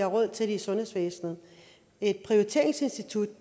råd til det i sundhedsvæsenet et prioriteringsinstitut